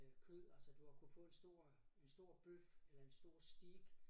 Øh kød altså du har kunnet få en stor en stor bøf eller en stor steak